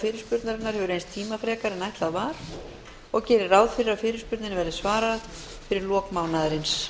fyrirspurnarinnar hefur reynst tímafrekari en ætlað var og gerir ráð fyrir að fyrirspurninni verði svarað fyrir lok mánaðarins